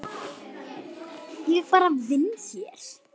Ég bara vinn hér.